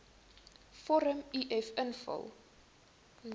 vorm uf invul